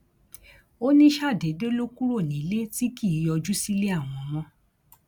ó ní ṣàdédé ló kúrò nílé tí kì í yọjú sílé àwọn mọ